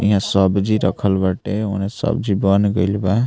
यहाँ सब्जी रखल बाटे उने सब्जी बन गईल बा।